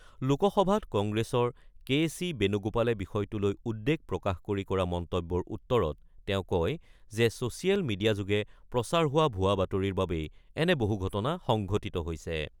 লোকসভাত কংগ্ৰেছৰ K C বেণুগোপালে বিষয়টো লৈ উদ্বেগ প্ৰকাশ কৰি কৰা মন্তব্যৰ উত্তৰত তেওঁ কয় যে, ছ'ছিয়েল মিডিয়াযোগে প্ৰচাৰ হোৱা ভুৱা বাতৰিৰ বাবেই এনে বহু ঘটনা সংঘটিত হৈছে।